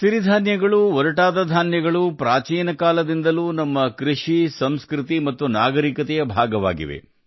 ರಾಗಿ ಸಿರಿ ಧಾನ್ಯಗಳು ಪ್ರಾಚೀನ ಕಾಲದಿಂದಲೂ ನಮ್ಮ ಕೃಷಿ ಸಂಸ್ಕೃತಿ ಮತ್ತು ನಾಗರಿಕತೆಯ ಭಾಗವಾಗಿದೆ